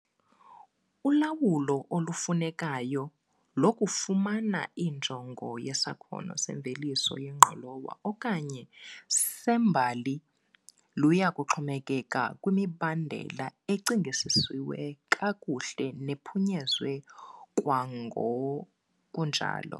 Ulawulo olufunekayo lokufumana injongo yesakhono semveliso yengqolowa okanye sembali luya kuxhomekeka kwimibandela ecingisiswe kakuhle nephunyezwe kwangokunjalo.